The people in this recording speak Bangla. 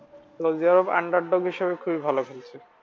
সৌদি আরব খুব ভালো খেলছে।